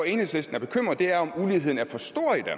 enhedslisten er bekymret for er om muligheden er for stor i